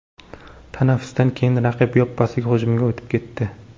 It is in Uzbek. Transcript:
Tanaffusdan keyin raqib yoppasiga hujumga o‘tib ketdi.